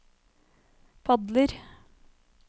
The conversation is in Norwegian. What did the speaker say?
padler